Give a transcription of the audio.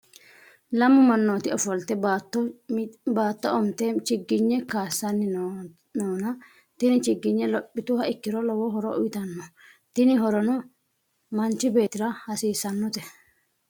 lammu manooti ofolitte baatto umitte chigigne kaasanni noona tinni chigigne lopituha ikiro lowo horo uyiitanno tinni horono manchi beetira hasisannote.